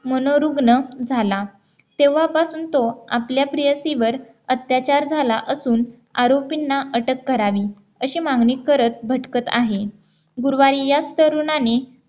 मनोरुग्ण झाला तेव्हापासून तो आपल्या प्रियसी वर अत्याचार झाला असून आरोपींना अटक करावी अशी मागणी करत भटकत आहे गुरुवारी याच तरुणाने